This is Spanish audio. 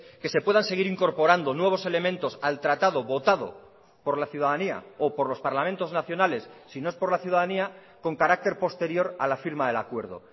que se puedan seguir incorporando nuevos elementos al tratado votado por la ciudadanía o por los parlamentos nacionales si no es por la ciudadanía con carácter posterior a la firma del acuerdo